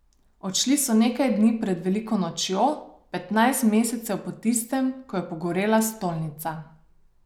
Odšli so nekaj dni pred veliko nočjo, petnajst mesecev po tistem, ko je pogorela stolnica.